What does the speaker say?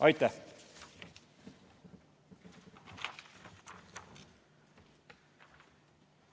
Aitäh!